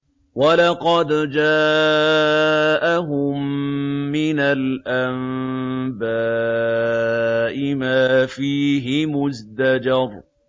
وَلَقَدْ جَاءَهُم مِّنَ الْأَنبَاءِ مَا فِيهِ مُزْدَجَرٌ